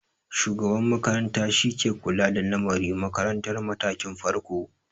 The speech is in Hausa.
Shugaban makaranta shi ke kula da lamari makarantar matakin farko.